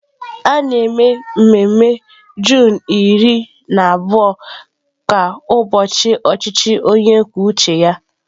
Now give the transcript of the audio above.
A na-eme mmemme Juunu iri na abụọ ka ụbọchị ọchịchị onye kwuo uche ya..